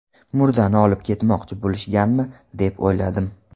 Murdani olib ketmoqchi bo‘lishganmi, deb o‘yladim.